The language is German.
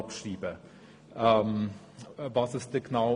Was ändert sich dann genau?